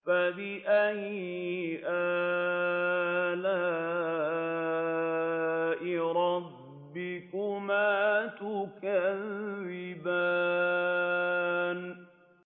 فَبِأَيِّ آلَاءِ رَبِّكُمَا تُكَذِّبَانِ